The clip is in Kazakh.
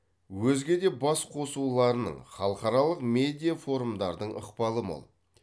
өзге де басқосуларының халықаралық медиафорумдардың ықпалы мол